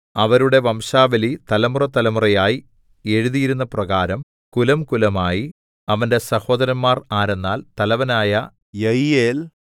അവരുടെ വംശാവലി തലമുറതലമുറയായി എഴുതിയിരുന്നപ്രകാരം കുലംകുലമായി അവന്റെ സഹോദരന്മാർ ആരെന്നാൽ തലവനായ യയീയേൽ